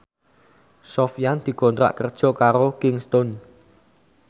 Sofyan dikontrak kerja karo Kingston